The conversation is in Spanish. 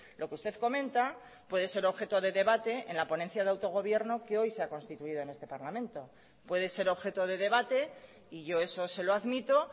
lo que usted comenta puede ser objeto de debate en la ponencia de autogobierno que hoy se ha constituido en este parlamento puede ser objeto de debate y yo eso se lo admito